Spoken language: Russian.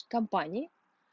компании